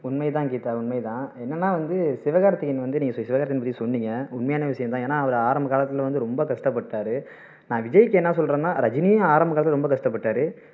உண்மை தான் கீதா உண்மை தான் என்னன்னா வந்து சிவகார்த்திக்கேயன் வந்து நீங்க சிவகார்த்திக்கேயன் பத்தி சொன்னீங்க உண்மையான விஷயம் தான் ஏன்னா அவரு ஆரம்ப காலத்துல வந்து ரொம்ப கஷ்டப்பட்டாரு சிவகார்த்திக்கேயன் விஜய்க்கு என்ன சொல்றேன்னா ரஜினியும் ஆரம்ப காலத்துல ரொம்ப கஷ்டப்பட்டாரு